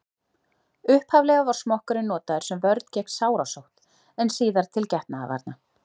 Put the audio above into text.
upphaflega var smokkurinn notaður sem vörn gegn sárasótt en síðar til getnaðarvarna